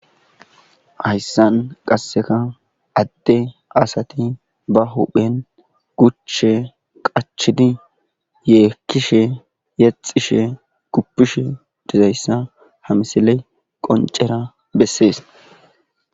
Hayssan qasseka adde asati ba huphen guche qachidi yeekkishe yexishe kuppishe dizayssa hamsiley qoncera bessees